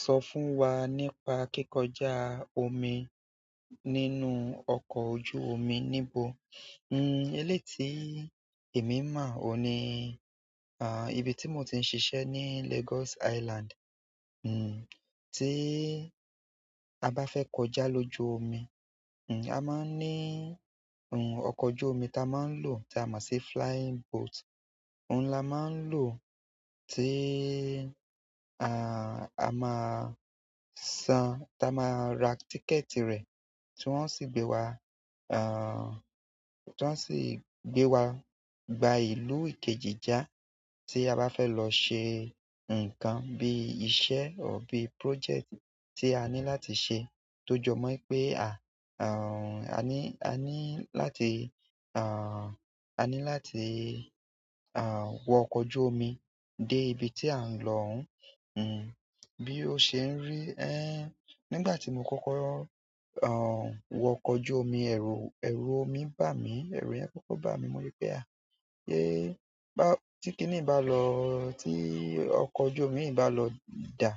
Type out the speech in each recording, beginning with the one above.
Sọ fún wa nípa kíkọjá omi nínú ọkọ̀ ojú omi níbo? N-n-n eléi tí èmi mọ̀ oun ni, à, ibi tí mò tí ń ṣiṣẹ́ ní Lagos Island, n-n-n tí a bá fẹ́ kọjá lójú omi, n-n-n a máa ń ní, n-n-n ọkọ̀ ojú omi tí a máa ń lò tí a mọ si flying boat. Òun la máa ń lò tí, a-a-a máa san-- tí a máa ra tíkẹ̀ẹ̀tì rẹ̀, tí wọ́n sì gbé wa, a-a-a tí wọ́n sì gbé wa gba ìlú ìkejì já. Tí a bá fẹ́ lọ ṣe nǹkan bí iṣẹ́ or bí, project tí a ní láti ṣe, tó jọ mọ́ pé a, a-a-a ní, a ní láti, a-a-a ní láti, a-a-a wọ ọkọ̀ ojú omi dé ibi tí à ń lọ ọhún. Bi o ṣe n ri. Ẹn nígbà ti mo kọkọ wọ ọkọ ojú omi, ẹru omi ba mii. Ẹ̀rù yẹ́n kọ́kọ́ bà mí. Mo wípé: à, sé bá-- tí kìnì bá lọ, tí ọkọ̀ ojú omi yìí bá lọ dà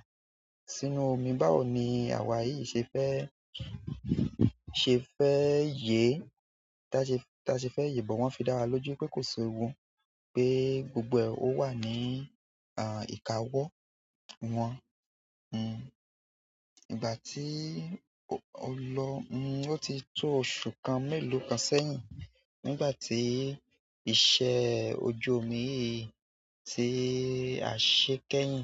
sínú omi, báwo ni àwa yìí ṣe fẹ́, ṣe fẹ́ yè? Tá ṣe, tá ṣe fẹ́ yè? Bọ wọn fi dawa loju oe ko s'ewu. Pé gbogbo ẹ ò wà ní, a-a-a ìkáwọ́ wọn. N-n-n ìgbà tí o lọ, n-n-n ó ti tó oṣù kan, mẹ́lòó kan sẹ́yìn, nígbà tí iṣẹ́ ojú omi yìí tí a ṣe kẹ́yìn.